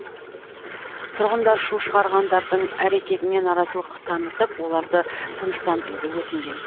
тұрғындар шу шығарғандардың әрекетіне наразылық танытып оларды тыныштандыруды өтінген